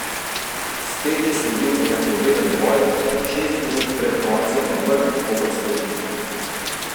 Spet je sledil enakovreden boj, šest minut pred koncem pa mrk koprske ekipe.